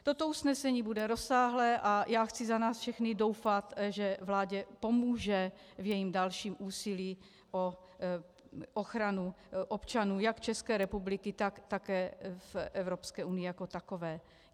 Toto usnesení bude rozsáhlé a já chci za nás všechny doufat, že vládě pomůže v jejím dalším úsilí o ochranu občanů jak České republiky, tak také v Evropské unii jako takové.